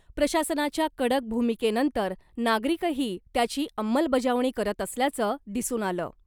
प्रशासनाच्या कडक भूमिकेनंतर नागरिकही त्याची अंमलबजावणी करत असल्याचं दिसून आलं .